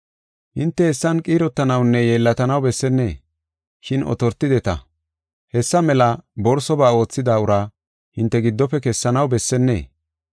Hinte hessan qiirotanawunne yeellatanaw bessenne, shin otortideta. Hessa mela borsoba oothida ura hinte giddofe kessanaw bessennee?